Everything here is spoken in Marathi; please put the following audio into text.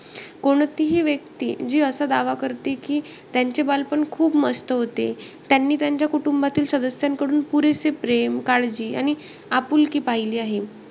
कोणतीही व्यक्ती जी असा दावा करते की, त्यांचे बालपण खूप मस्त होते. त्यांनी त्यांच्या कुटुंबातील सदस्यांकडून पुरेसे प्रेम काळजी आणि आपुलकी पहिली आहे.